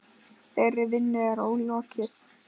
Þeirri vinnu er ólokið.